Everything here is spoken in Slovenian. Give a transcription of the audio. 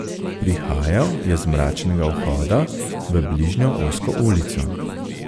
Prihajal je z mračnega vhoda v bližnjo ozko ulico.